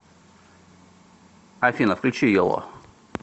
афина включи йоло